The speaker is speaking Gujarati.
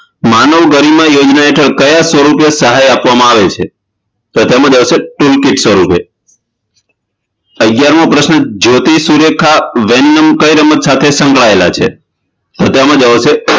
માનવ ગરિમા યોજના હેઠળ કયા સ્વરુપે સહાય આપવામાં આવે છે તો તેમા આવશે tool kit સ્વરૂપ અગિયારમો પ્રશ્ન જ્યોતિ સુરેખા વેનમ કઈ રમત સાથે સંકળાયેલા છે તો તેમા આવશે